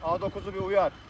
A9-u bir uyar.